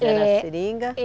Era seringa?